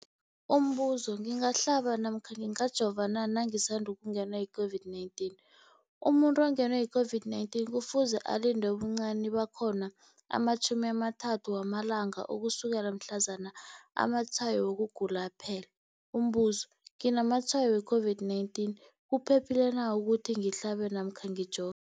Umbuzo, ngingahlaba namkha ngingajova na nangisandu kungenwa yi-COVID-19? Umuntu ongenwe yi-COVID-19 kufuze alinde ubuncani bakhona ama-30 wama langa ukusukela mhlazana amatshayo wokugula aphela. Umbuzo, nginamatshayo we-COVID-19, kuphephile na ukuthi ngihlabe namkha ngijo